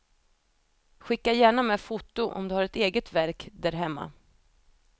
Skicka gärna med foto om du har ett eget verk där hemma.